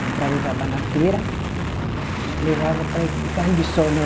Comprava o jabá na feira e levava para. E carne de sol, né?